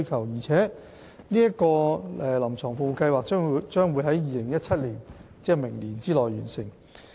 預計新界西聯網的"臨床服務計劃"將於2017年——即明年內完成。